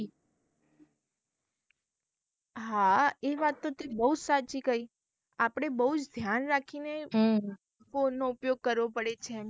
હા એ વાત તો તે બહુજ સાચી કઈ આપળે બહુજ ધ્યાન રાખીને phone નો ઉપયોગ કરવો પડે.